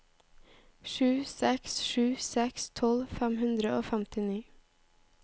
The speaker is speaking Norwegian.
sju seks sju seks tolv fem hundre og femtini